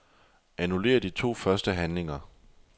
Annullér de to første handlinger.